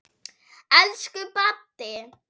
Elsku Baddi.